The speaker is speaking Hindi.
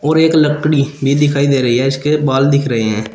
और एक लकड़ी भी दिखाई दे रही है इसके बाल दिख रहे हैं।